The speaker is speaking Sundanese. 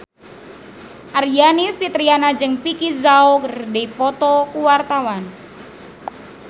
Aryani Fitriana jeung Vicki Zao keur dipoto ku wartawan